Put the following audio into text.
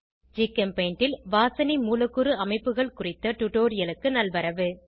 ஜிகெம்பெய்ண்ட் ல் வாசனை மூலக்கூறு அமைப்புகள் குறித்த ஸ்போகன் டுடோரியலுக்கு நல்வரவு